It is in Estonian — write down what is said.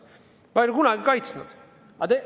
Ma ei ole seda kunagi kaitsnud.